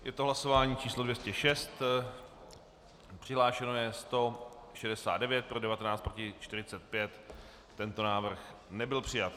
Je to hlasování číslo 206, přihlášeno je 169, pro 19, proti 45, tento návrh nebyl přijat.